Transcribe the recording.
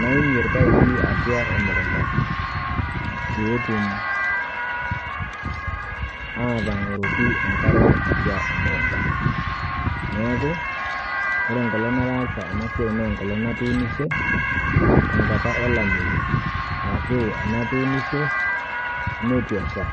naimie irpaipi atua emukunta peetum aatang'oroki enkare atua emukunta. Neaku ore enkolong' nataasa ena siai neenkolong' natuunishe tankata olameyu arashu enatuunishe neitu esha.